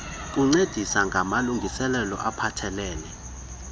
kuncedisa ngamalungiselelo aphathelele